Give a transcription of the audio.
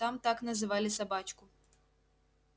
там так называли собачку